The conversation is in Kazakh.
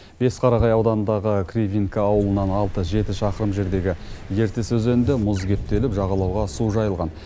бесқарағай ауданындағы кривинка ауылынан алты жеті шақырым жердегі ертіс өзенінде мұз кептеліп жағалауға су жайылған